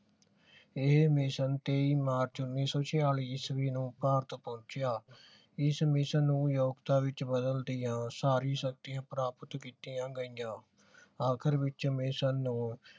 ਇਹ ਮਿਸ਼ਨ ਤੇਈ ਮਾਰਚ ਉੱਨੀ ਸੋ ਛਿਆਲੀ ਈਸਵੀ ਨੂੰ ਭਾਰਤ ਪਹੁੰਚਿਆ। ਇਸ ਮਿਸ਼ਨ ਨੂੰ ਸਾਰੀ ਸ਼ਕਤੀਆਂ ਪ੍ਰਾਪਤ ਕੀਤੀਆਂ ਗਈਆਂ ਆਖਿਰ ਵਿਚ ਮਿਸ਼ਨ ਨੂੰ